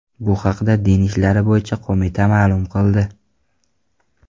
Bu haqda Din ishlari bo‘yicha qo‘mita ma’lum qildi .